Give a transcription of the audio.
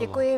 Děkuji.